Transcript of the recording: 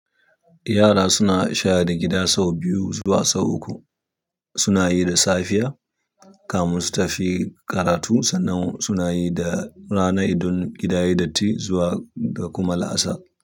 Yara suna share gida sau biyu zuwa sau uku. Suna yi da safiya kafin su tafi karatu, sannan suna yi da rana idan gida yayi datti zuwa da kuma la'asar.